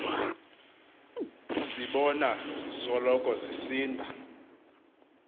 sibona zisoloko zisinda